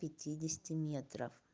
пяти десяти метров